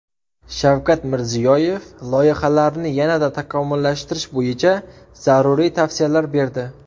Shavkat Mirziyoyev loyihalarni yanada takomillashtirish bo‘yicha zarur tavsiyalar berdi.